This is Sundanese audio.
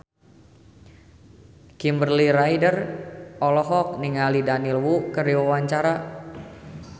Kimberly Ryder olohok ningali Daniel Wu keur diwawancara